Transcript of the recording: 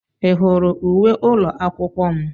Ị hụrụ uwe ụlọ akwụkwọ m?